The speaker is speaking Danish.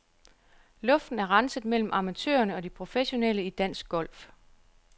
Luften er renset mellem amatørerne og de professionelle i dansk golf.